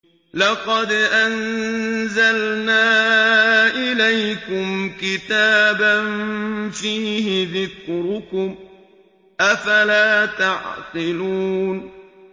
لَقَدْ أَنزَلْنَا إِلَيْكُمْ كِتَابًا فِيهِ ذِكْرُكُمْ ۖ أَفَلَا تَعْقِلُونَ